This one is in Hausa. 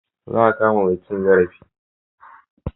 Za a kama mai cin zarafi.